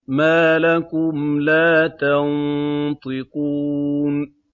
مَا لَكُمْ لَا تَنطِقُونَ